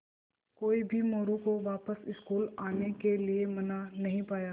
कोई भी मोरू को वापस स्कूल आने के लिये मना नहीं पाया